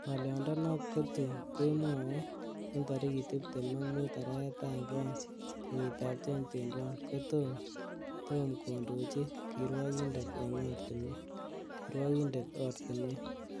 Ngoliondonot kotun kemwoe en tarigit tibtem ak mut arawetab oeng, kenyitab 2021,kotom kotom kondochi kirwokindet ortinwek.